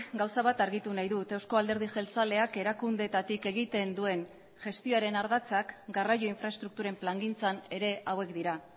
gauza bat argitu nahi dut euzko alderdi jeltzaleak erakundeetatik egiten duen gestioaren ardatzak garraio infraestrukturen plangintzan ere hauek dira